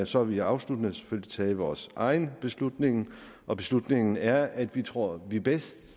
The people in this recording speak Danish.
så har vi afsluttende selvfølgelig truffet vores egen beslutning og beslutningen er at vi tror at vi bedst